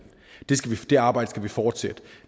det arbejde skal vi fortsætte